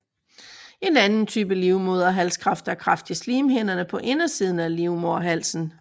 En anden type livmoderhalskræft er kræft i slimkirtlerne på indersiden af livmoderhalsen